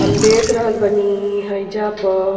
हम देख रहल बानी हइजा प --